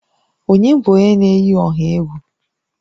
Ònye bụ onye na-eyi ọha egwu?